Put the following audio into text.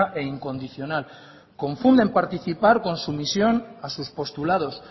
e incondicional confunden participar con sumisión a sus postulados